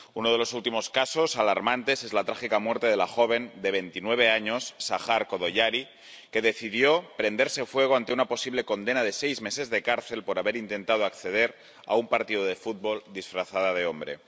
Uno de los últimos casos alarmantes es la trágica muerte de la joven de veintinueve años, Sahar Jodayarí, que decidió prenderse fuego ante una posible condena de seis meses de cárcel por haber intentado acceder a un partido de fútbol disfrazada de hombre.